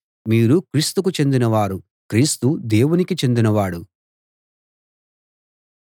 మీరు క్రీస్తుకు చెందినవారు క్రీస్తు దేవునికి చెందినవాడు